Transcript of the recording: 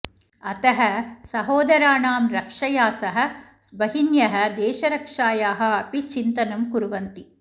अतः सहोदराणां रक्षया सह भगिन्यः देशरक्षायाः अपि चिन्तनं कुर्वन्ति